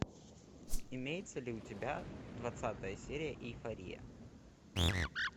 имеется ли у тебя двадцатая серия эйфория